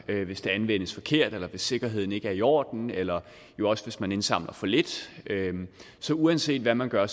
hvis data anvendes forkert eller hvis sikkerheden ikke er i orden eller jo også hvis man indsamler for lidt så uanset hvad man gør